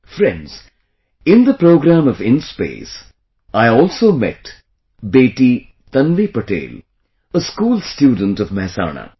Friends, in the program of InSpace, I also met beti Tanvi Patel, a school student of Mehsana